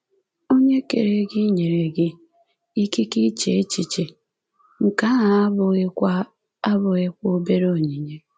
Onye kere gị nyere gị ‘ikike iche echiche’, nke ahụ abụghịkwa abụghịkwa obere onyinye.